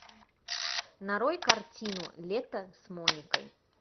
нарой картину лето с моникой